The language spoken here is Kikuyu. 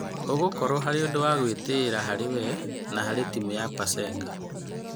ũgũkorwo arĩ ũndũ wa gũĩtĩĩra harĩ wee, na harĩ timu ya Pasenga.